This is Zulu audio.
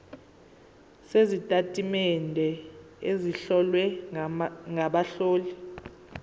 sezitatimende ezihlowe ngabahloli